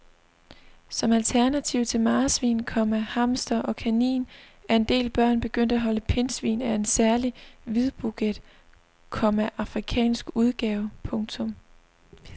Som alternativ til marsvin, komma hamster og kanin er en del børn begyndt at holde pindsvin af en særlig hvidbuget, komma afrikansk udgave. punktum